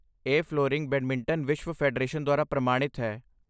ਇਹ flooring badminton ਵਿਸ਼ਵ federation ਦੁਆਰਾ ਪ੍ਰਮਾਣਿਤ ਹੈ।